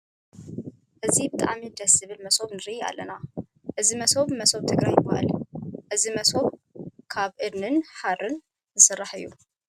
እዚ ብጣዕሚ ደስ ዝብል መሶብ ንርኢ ኣለና። እዚ መሶብ መሶብ ትግራይ ይባሃል ። እዚ መሶብ ካብ እድኒን ሃሪን ዝስራሕ እዩ ።